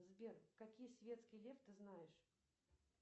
сбер какие светский лев ты знаешь